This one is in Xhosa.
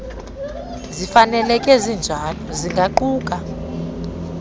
zifaneleke zinjalo zingaquka